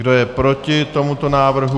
Kdo je proti tomuto návrhu?